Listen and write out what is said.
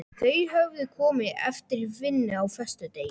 Þau höfðu komið eftir vinnu á föstudegi.